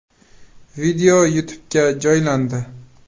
Video YouTube’ga joylandi.